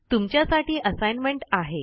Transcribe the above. तुमच्यासाठी असाइनमेंट आहे